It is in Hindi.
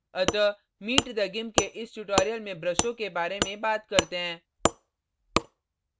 अतः meet the gimp के इस tutorial में ब्रशों के बारे में बात करते हैं